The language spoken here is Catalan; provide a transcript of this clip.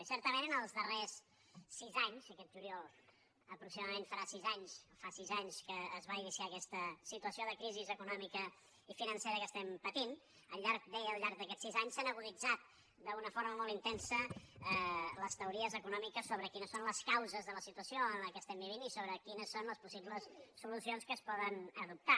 i certament els darrers sis anys aquest juliol aproxi·madament farà sis anys fa sis anys que es va iniciar aquesta situació de crisi econòmica i financera que estem patint al llarg deia d’aquests sis anys s’han aguditzat d’una forma molt intensa les teories econò·miques sobre quines són les causes de la situació que estem vivint i sobre quines són les possibles solucions que es poden adoptar